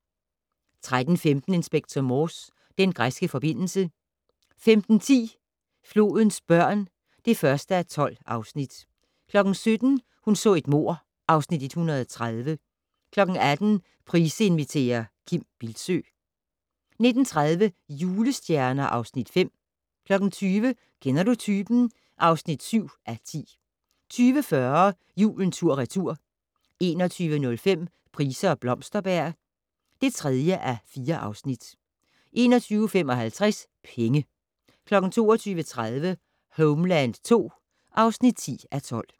13:15: Inspector Morse: Den græske forbindelse 15:10: Flodens børn (1:12) 17:00: Hun så et mord (Afs. 130) 18:00: Price inviterer - Kim Bildsøe 19:30: Julestjerner (Afs. 5) 20:00: Kender du typen? (7:10) 20:40: Julen tur/retur 21:05: Price og Blomsterberg (3:4) 21:55: Penge 22:30: Homeland II (10:12)